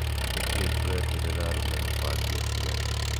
Nĩ kĩĩ tũreterere arũme mabange ũciari?